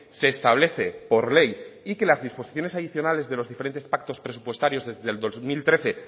se establece por ley y que las disposiciones adicionales de los diferentes actos presupuestarios desde el dos mil trece